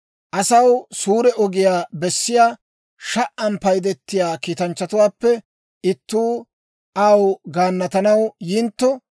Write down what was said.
«Asaw suure ogiyaa bessiyaa, sha"an paydetiyaa kiitanchchatuwaappe ittuu aw gaannatanaw yintto,